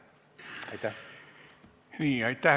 Aitäh!